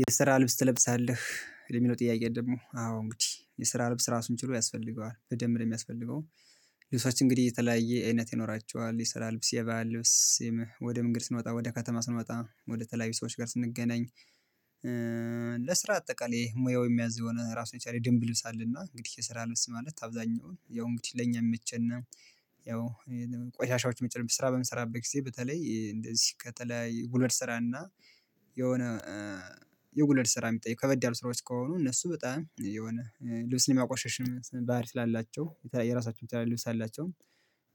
የስራ ልብስ ትለብሳለህ ለሚለው ጥያቄ ደግሞ አዎ እንግዲህ የስራ ልብስ ራሱን ችሎ ያስፈልገዋል በደንብ ነው የሚያስፈልገው። ልብሳችን እንግዲህ የተለያየ አይነት ይኖራቸዋል የስራ ልብስ የበአል ልብስ ወደ መንገድ ስንወጣ ወደ ከተማ ስንወጣ ወደ ተለያዩ ሰዎች ጋር ስንገናኝ። ለስራ አጠቃላይ ሙያው የሚያዘውን ራሱን የቻለ የደንብ ልብስ አለና እንግዲህ የስራ ልብስ ማለት አብዛኛው ያው እንግዲህ ለኛ የሚመቸነ ያው ቆሻሻዎች የሚጨርምህ ስራ በምሰራበት ጊዜ በተለይ እንደዚህ ከተለያዩ ጉልበት ስራና የሆነ የጉልበት ስራ የሚጠይቁ ከበድ ያሉ ስራዎች ከሆኑ እነሱ በጣም የሆነ ልብስን የማቆሸሽም ባህሪ ስላላቸው የራሳቸውን የስራ ልብስ አላቸው።